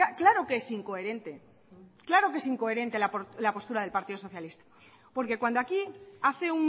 claro que es incoherente claro que es incoherente la postura del partido socialista porque cuando aquí hace